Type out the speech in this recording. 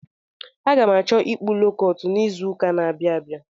Aga m achọ ịkpụ lookọt n'izuụka n'abịa abịa.